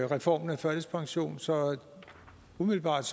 reformen af førtidspension så umiddelbart